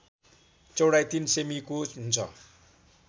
चौडाइ ३ सेमिको हुन्छ